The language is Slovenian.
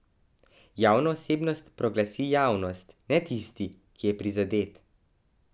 Javno osebnost proglasi javnost, ne tisti, ki je prizadet.